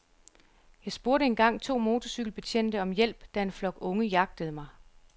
Jeg spurgte engang to motorcykelbetjente om hjælp, da en flok unge jagtede mig.